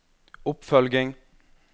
oppfølging